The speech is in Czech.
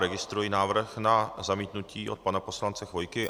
Registruji návrh na zamítnutí od pana poslance Chvojky.